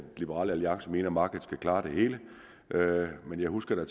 liberal alliance mener at markedet skal klare det hele men jeg husker da